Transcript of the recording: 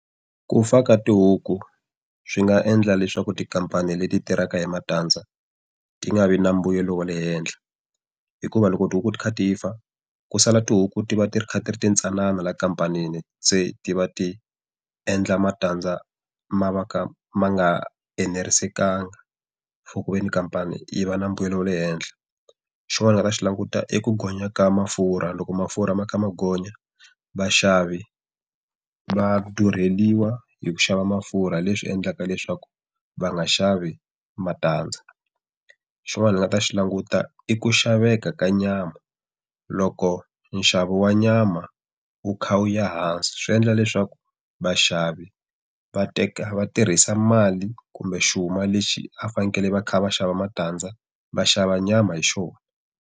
Ku fa ka tihuku swi nga endla leswaku tikhampani leti tirhaka hi matandza ti nga vi na mbuyelo wo le henhla. Hikuva loko tihuku ti kha ti fa, ku sala tihuku ti va ti ri kha ri ti ri ti ntsanana la khamphanini se ti va ti endla matandza ma va ka ma nga enerisekanga, khamphani yi va na mbuyelo wa le henhla. Xin'wani ndzi nga ta xi languta i ku gonya ka mafurha loko mafurha ma kha ma gonya, vaxavi va durheriwa hi ku xava mafurha leswi endlaka leswaku va nga xavi matandza. Xin'wana hi nga ta xi languta i ku xaveka ka nyama, loko nxavo wa nyama wu kha wu ya hansi swi endla leswaku vaxavi va teka va tirhisa mali kumbe xuma lexi a va fanekele va kha va xava matandza va xava nyama hi xona.